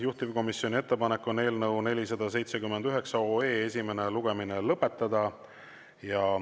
Juhtivkomisjoni ettepanek on eelnõu 479 esimene lugemine lõpetada.